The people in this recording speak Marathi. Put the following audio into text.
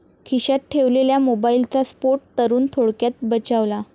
खिश्यात ठेवलेल्या मोबाईलचा स्फोट, तरुण थोडक्यात बचावला